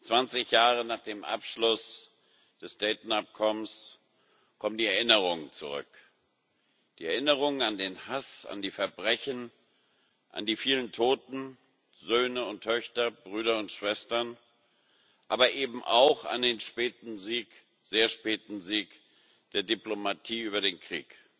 20 Jahre nach dem Abschluss des Dayton Abkommens kommen die Erinnerungen zurück die Erinnerungen an den Hass, an die Verbrechen, an die vielen Toten, Söhne und Töchter, Brüder und Schwestern, aber eben auch an den späten Sieg, den sehr späten Sieg der Diplomatie über den Krieg.